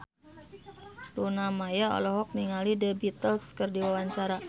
Luna Maya olohok ningali The Beatles keur diwawancara